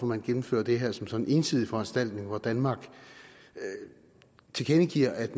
man gennemfører det her som sådan en ensidig foranstaltning hvor danmark tilkendegiver at